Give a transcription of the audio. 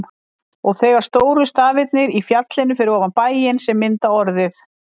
Og þegar stóru stafirnir í fjallinu fyrir ofan bæinn, sem mynda orðið